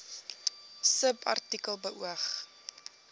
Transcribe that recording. subartikel beoog